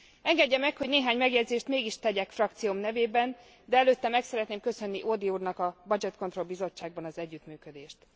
Engedje meg, hogy néhány megjegyzést mégis tegyek frakcióm nevében, de előtte meg szeretném köszönni Audy úrnak a Budget Control Bizottságban az együttműködést.